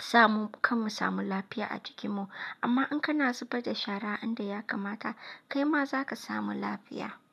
samu kanmu samu lafiya a jikinmu. Amma in kana zubar da shara a inda ya kamata, kai ma za ka samu lafiya.